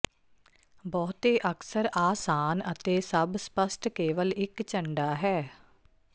ਬਹੁਤੇ ਅਕਸਰ ਆਸਾਨ ਅਤੇ ਸਭ ਸਪੱਸ਼ਟ ਕੇਵਲ ਇੱਕ ਝੰਡਾ ਹੈ